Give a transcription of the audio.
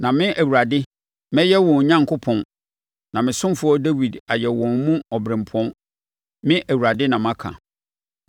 Na me, Awurade, mɛyɛ wɔn Onyankopɔn na me ɔsomfoɔ Dawid ayɛ wɔn mu ɔberempɔn. Me Awurade na maka.